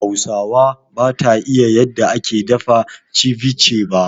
Hauwa bata iƴa yanda ake dafa ceviche ba.